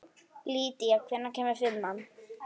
Lýdía, hvenær kemur fimman?